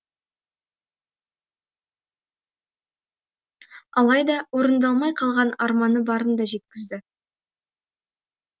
алайда орындалмай қалған арманы барын да жеткізді